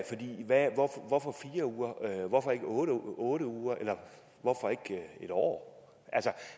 for hvorfor fire uger hvorfor ikke otte otte uger eller hvorfor ikke en år